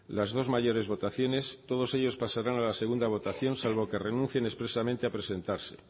las dos mayores votaciones todos ellos pasarán a la segunda votación salvo que renuncien expresamente a presentarse